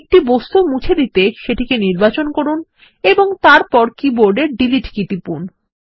একটি বস্তু মুছে দিতে সেটিকে নির্বাচন করুন ও তারপর কীবোর্ডের ডিলিট কী টিপুন